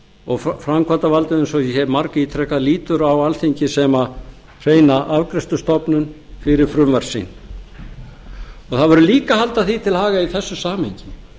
og framkvæmdarvaldið eins og ég hef margítrekað lítur á alþingi sem hreina afgreiðslustofnun fyrir frumvarp sitt það verður líka að halda því til haga í þessu samhengi